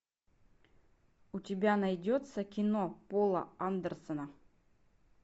у тебя найдется кино пола андерсена